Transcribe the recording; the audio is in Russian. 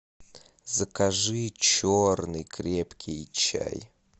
закажи черный крепкий чай